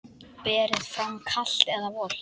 Berið fram kalt eða volgt.